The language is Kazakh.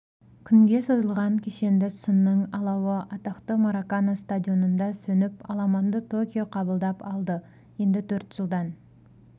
күнге созылған кешенді сынның алауы атақты маракана стадионында сөніп аламанды токио қабылдап алды енді төрт жылдан